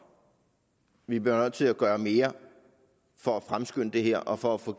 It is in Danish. vi bliver nødt til at gøre mere for at fremskynde det her og for at få